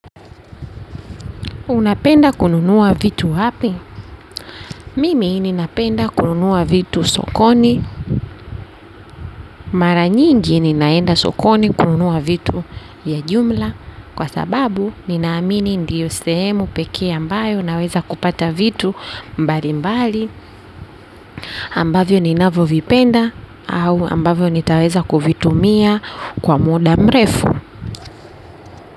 Unapenda kununua vitu wapi? Mimi ninapenda kununua vitu sokoni. Mara nyingi ninaenda sokoni kununua vitu ya jumla. Kwa sababu, ninaamini ndiyo sehemu pekee ambayo naweza kupata vitu mbali mbali. Ambavyo ninavyo vipenda au ambavyo nitaweza kuvitumia kwa muda mrefu.